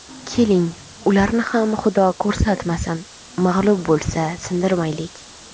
Keling, ularni ham Xudo ko‘rsatmasin, mag‘lub bo‘lsa, sindirmaylik.